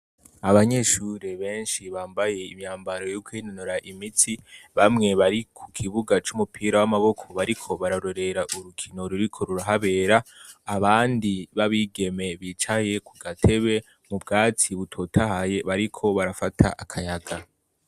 Abanyeshuri benshi bambaye imyambaro yo kwinonora imitsi; bamwe bari ku kibuga c'umupira w'amaboko bariko, bararorera urukino ruriko rurahabera, abandi b'abigeme bicaye ku gatebe mu bwatsi butotahaye bariko barafata akayaga.